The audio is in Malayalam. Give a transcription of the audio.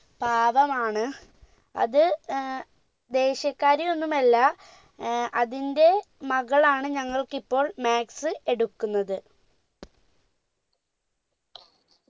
പാവമാണ് അത് ഏർ ദേശ്യകാരയൊന്നുമല്ല ഏർ അതിന്റെ മകളാണ് ഞങ്ങൾക്കിപ്പോൾ maths എടുക്കുന്നത്